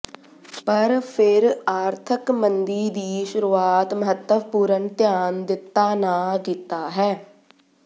ਪਰ ਫਿਰ ਆਰਥਿਕ ਮੰਦੀ ਦੀ ਸ਼ੁਰੂਆਤ ਮਹੱਤਵਪੂਰਨ ਧਿਆਨ ਦਿੱਤਾ ਨਾ ਕੀਤਾ ਹੈ